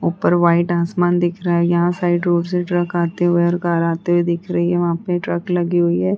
ऊपर व्हाइट आसमान दिख रहा है। यहाँ साइड रोड से ट्रक आते हुए और कार आते हुए दिख रही है। वहाँ पे ट्रक लगी हुई है।